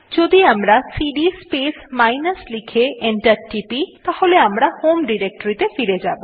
যদি আমরা cd space minus লিখে এন্টার টিপি তাহলে আমরা হোম ডিরেক্টরীতে ফিরে যাব